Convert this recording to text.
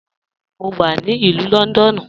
Bẹẹni, mo wà ni Ilù Lọ́ndọ́nù.